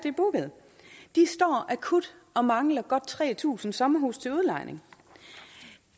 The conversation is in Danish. er booket de står akut og mangler godt tre tusind sommerhuse til udlejning